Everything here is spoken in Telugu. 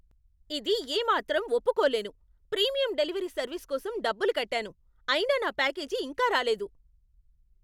ఇది ఏమాత్రం ఒప్పుకోలేను! ప్రీమియం డెలివరీ సర్వీస్ కోసం డబ్బులు కట్టాను, అయినా నా ప్యాకేజీ ఇంకా రాలేదు!